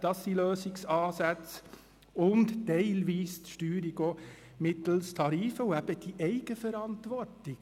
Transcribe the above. Das sind Lösungsansätze sowie teilweise auch die Steuerung mittels Tarifen und eben die Eigenverantwortung.